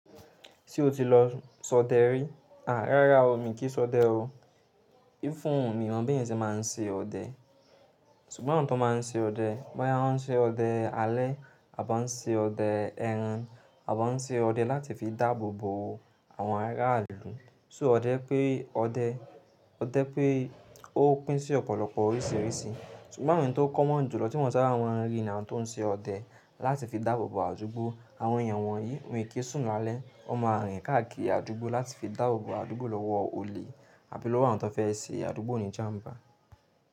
Ṣé o ti lọ sọdẹ rí? Àá rárá o, mi kìí sọdẹ o. Fún mi mọ̀ bí ẹ̀yin tí máa ń ṣe ọdẹ. Ṣùgbọ́n àwọn tó máa ń ṣe ọdẹ, máa ń ṣe ọdẹ alẹ́ àbá ń ṣe ọdẹ ẹran, àbá ń ṣe ọdẹ láti fi dáàbò bo àwọn ará ìlú. So ọdẹ pé ọdẹ, ọdẹ pé ó pín sí ọ̀pọ̀lọpọ̀ oríṣìíríṣìí. Ṣùgbọ́n àwọn ẹni tó common ju lọ tí mo saba mọ̀ n ri ni awọn tó ń ṣe ọdẹ láti fi dáàbò bo àdúgbò. Àwọn èèyàn wọ̀nyí won e kí sùn lálẹ́, won máa rìn káàkiri àdúgbò láti fi dáàbò bo àdúgbò lọ́wọ́ olè àbí lọ́wọ́ àwọn tó fẹ́ ṣe àdúgbò ní jám̀bà.